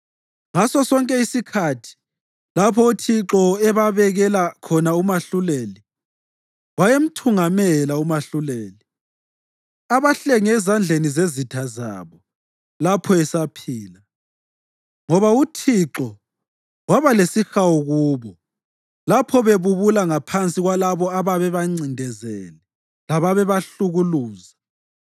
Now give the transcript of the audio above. Ngasosonke isikhathi lapho uThixo ebabekela khona umahluleli, wayemthungamela umahluleli abahlenge ezandleni zezitha zabo lapho esaphila; ngoba uThixo waba lesihawu kubo lapho bebubula ngaphansi kwalabo ababebancindezele lababebahlukuluza.